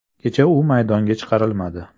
Kecha u maydonga chiqarilmadi.